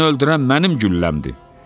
Ayını öldürən mənim gülləmdir.